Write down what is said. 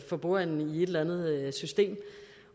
for bordenden i et eller andet system